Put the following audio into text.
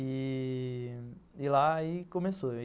E lá, aí começou.